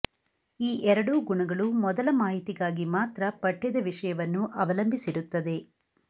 ಈ ಎರಡೂ ಗುಣಗಳು ಮೊದಲ ಮಾಹಿತಿಗಾಗಿ ಮಾತ್ರ ಪಠ್ಯದ ವಿಷಯವನ್ನು ಅವಲಂಬಿಸಿರುತ್ತದೆ